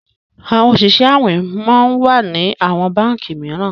àwọn Oṣiṣẹ awin món wá ní àwọn bánkì míràn